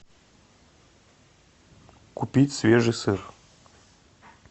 купить свежий сыр